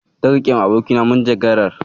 Zan riƙewa abokina manjagarar.